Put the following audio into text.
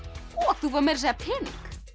þú færð meira að segja pening